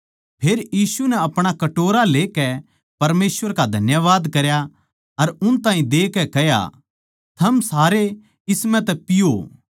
फेर यीशु नै अपणा कटोरा लेकै परमेसवर का धन्यवाद करया अर उन ताहीं देकै कह्या थम सारे इस म्ह तै पियो